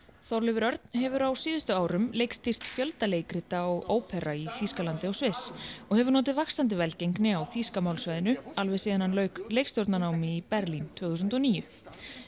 Þorleifur Örn hefur á síðustu árum leikstýrt fjölda leikrita og ópera í Þýskalandi og Sviss og hefur notið vaxandi velgengni á þýska málsvæðinu alveg síðan hann lauk leikstjórnarnámi í Berlín tvö þúsund og níu